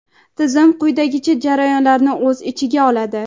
Tizim quyidagi jarayonlarni o‘z ichiga oladi:.